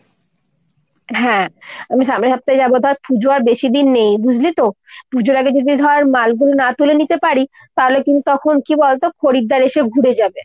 হ্যাঁ আমি সামনের সপ্তাহে যাবো। ধর পুজো আর বেশি দিন নেই বুঝলি তো ? পুজোর আগে যদি ধর মালগুলো না তুলে নিতে পারি তাহলে কিন্তু তখন কী বলতো খরিদ্দার এসে ঘুরে যাবে।